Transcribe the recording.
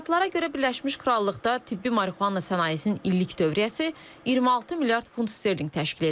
Tədqiqatlara görə Birləşmiş Krallıqda tibbi marihuana sənayesinin illik dövriyyəsi 26 milyard funt sterling təşkil edir.